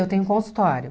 Eu tenho um consultório.